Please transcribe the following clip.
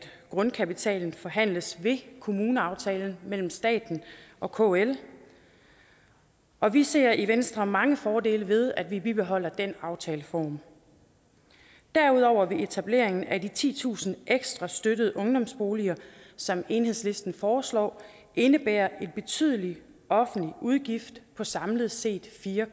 grundkapitalen forhandles ved kommuneaftalen mellem staten og kl og vi ser i venstre mange fordele ved at man bibeholder den aftaleform derudover vil etableringen af de titusind ekstra støttede ungdomsboliger som enhedslisten foreslår indebære en betydelig offentlig udgift på samlet set fire